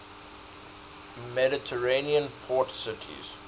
mediterranean port cities